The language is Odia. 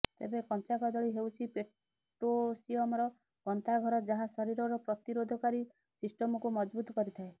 ତେବେ କଂଚା କଦଳୀ ହେଉଛି ପୋଟାସିୟମର ଗନ୍ତା ଘର ଯାହା ଶରୀରର ପ୍ରତିରୋଧକାରୀ ସିଷ୍ଟମକୁ ମଜଭୁତ୍ କରିଥାଏ